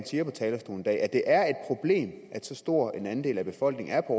siger på talerstolen i dag at det er et problem at så stor en andel af befolkningen er på